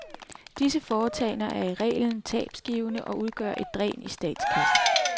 Disse foretagender er i reglen tabsgivende og udgør et dræn i statskassen.